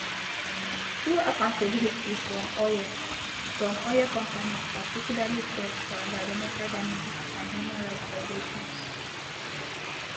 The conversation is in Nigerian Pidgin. two accountability from oil from oil companies particularly shell for environmental damages and human rights violations